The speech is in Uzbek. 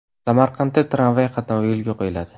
Samarqandda tramvay qatnovi yo‘lga qo‘yiladi.